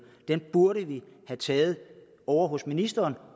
dem burde vi have taget ovre hos ministeren